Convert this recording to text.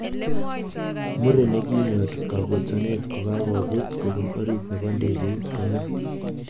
Muren nekinyor kakotonet kokakobut kopun orit nebo ndegeit kome.